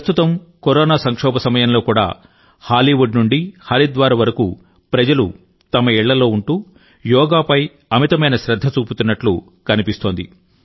ప్రస్తుతం కరోనా సంక్షోభం సమయంలో కూడా హాలీవుడ్ నుండి హరిద్వార్ వరకు ప్రజలు తమ ఇళ్లలో ఉంటూ యోగా పై అమితమైన శ్రద్ధ చూపుతున్నట్లు కనిపిస్తోంది